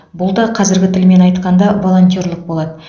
бұл да қазіргі тілмен айтқанда волонтерлік болады